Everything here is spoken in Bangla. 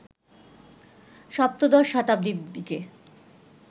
সপ্তদশ শতাব্দীর দিকে